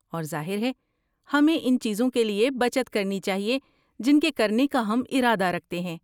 اور ظاہر ہے، ہمیں ان چیزوں کے لیے بچت کرنی چاہیے جن کے کرنے کا ہم ارادہ رکھتے ہیں۔